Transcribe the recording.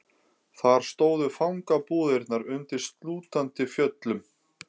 Þar stóðu fangabúðirnar undir slútandi fjöllum.